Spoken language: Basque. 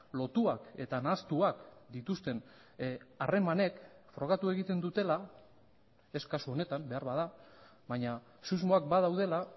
lotuak eta nahastuak dituzten harremanek frogatu egiten dutela ez kasu honetan beharbada baina susmoak badaudela